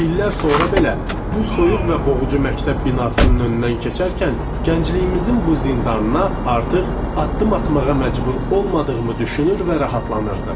İllər sonra belə bu soyuq və boğucu məktəb binasının önündən keçərkən gəncliyimizin bu zindanına artıq addım atmağa məcbur olmadığımı düşünür və rahatlanırdım.